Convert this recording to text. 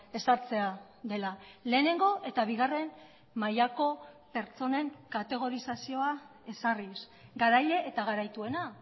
ezartzea dela lehenengo eta bigarren mailako pertsonen kategorizazioa ezarriz garaile eta garaituena